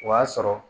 O y'a sɔrɔ